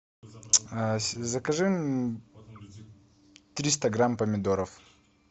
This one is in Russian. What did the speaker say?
закажи триста грамм помидоров